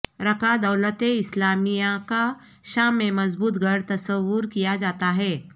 Raqqa دولت اسلامیہ کا شام میں مضبوط گڑھ تصور کیا جاتا ہے